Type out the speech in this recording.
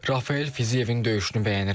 Rafael Fiziyevin döyüşünü bəyənirəm.